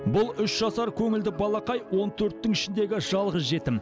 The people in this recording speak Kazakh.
бұл үш жасар көңілді балақай он төрттің ішіндегі жалғыз жетім